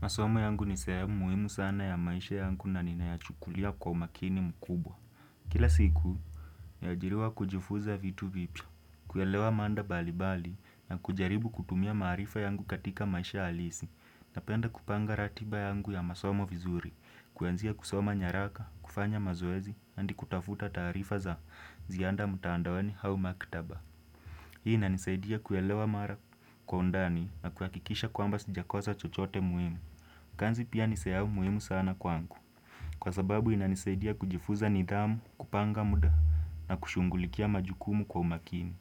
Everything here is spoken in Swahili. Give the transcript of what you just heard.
Masomo yangu ni sehemu muhimu sana ya maisha yangu. Na ninayachukulia kwa umakini mkubwa. Kila siku, naajiriwa kujifuza vitu vipya. Kuelewa manda bali bali na kujaribu kutumia marifa yangu katika maisha alisi. Napenda kupanga ratiba yangu ya masomo vizuri. Kuanzia kusoma nyaraka, kufanya mazoezi, andi kutafuta tarifa za zianda mutandaoni hau makitaba. Hii inanisaidia kuelewa mara kwa undani na kuakikisha kwamba sijakosa chochote muhimu. Kanzi pia nisea umuimu sana kwangu. Kwa sababu inanisaidia kujifuza nidhamu, kupanga muda na kushungulikia majukumu kwa umakini.